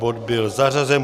Bod byl zařazen.